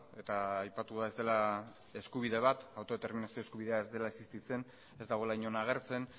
eta aipatua ez dela eskubide bat autodeterminazio eskubidea ez dela existitzen ez dagoela inon agertzen